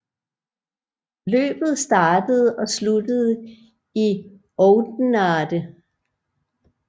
Løbet startede og sluttede i Oudenaarde